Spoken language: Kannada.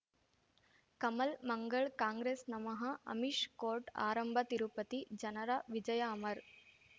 ಕಮಲ್ ಮಂಗಳ್ ಕಾಂಗ್ರೆಸ್ ನಮಃ ಅಮಿಷ್ ಕೋರ್ಟ್ ಆರಂಭ ತಿರುಪತಿ ಜನರ ವಿಜಯ ಅಮರ್